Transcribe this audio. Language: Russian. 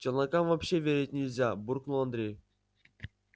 челнокам вообще верить нельзя буркнул андрей